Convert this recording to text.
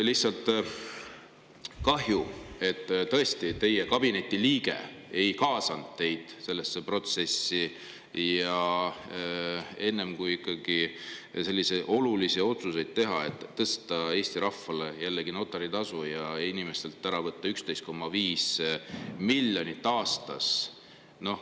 Lihtsalt kahju, et teie kabineti liige ei kaasanud teid sellesse protsessi, enne kui ikkagi teha selline oluline otsus, et tõsta Eesti rahval jällegi notaritasu ja võtta inimestelt ära 11,5 miljonit aastas.